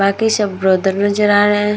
बाकी सब ब्रदर नज़र आ रहा है।